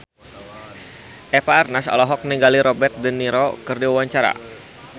Eva Arnaz olohok ningali Robert de Niro keur diwawancara